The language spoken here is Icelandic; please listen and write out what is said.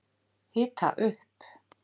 Hita upp